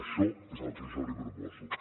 això és el que jo li proposo